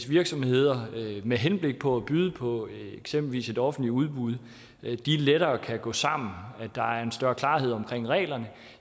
virksomheder med henblik på at byde på eksempelvis et offentligt udbud lettere kan gå sammen når der er en større klarhed om reglerne